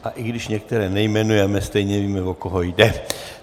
A i když některé nejmenujeme, stejně víme, o koho jde.